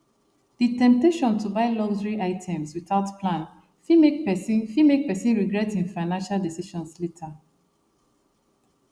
the temptation to buy luxury items without plan fit make person fit make person regret e financial decisions later